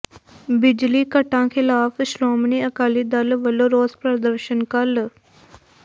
ਬਿਜਲੀ ਕੱਟਾਂ ਖਿਲ਼ਾਫ ਸ਼੍ਰੋਮਣੀ ਅਕਾਲੀ ਦਲ ਵੱਲੋਂ ਰੋਸ ਪ੍ਰਦਰਸ਼ਨ ਕੱਲ੍ਹ